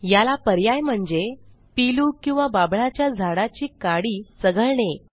याला पर्याय म्हणजे पीलू किंवा बाभळाच्या झाडाची काडी चघळणे